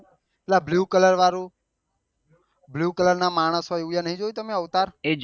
પેલા blue colour વાળું blue colour ના માણસ હોય છે એ નહી જોયું તમે અવતાર